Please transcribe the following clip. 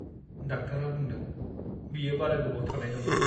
डाक्टारा बुंदों बियो बारा गोबाव थानाय नंला।